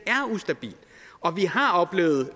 og vi har oplevet